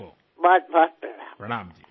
আপনাকেও অনেক অনেক প্রণাম